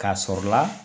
K'a sɔrɔ la